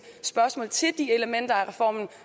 spørgsmål til de elementer af reformen